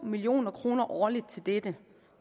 million kroner årligt til dette